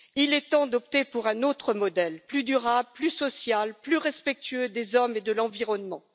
Il est temps d'opter pour un autre modèle, plus durable, plus social, plus respectueux des hommes et de l'environnement.